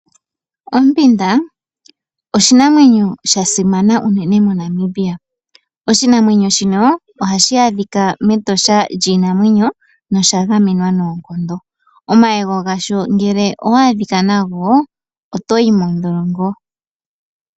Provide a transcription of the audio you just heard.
Ompinda oshinamwenyo shasimana unene moNamibia, oshinamweno shino ohashi adhika mEtosha lyiinamwenyo nosha gamwenwa nookondo, omayego gasho ngele owa adhika nago otoyi modholongo.